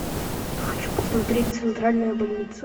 хочу посмотреть центральная больница